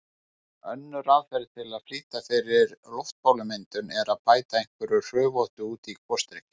Önnur aðferð til að flýta fyrir loftbólumyndun er að bæta einhverju hrufóttu út í gosdrykkinn.